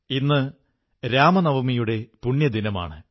ഇന്ന് രാമനവമിയുടെ പുണ്യദിനമാണ്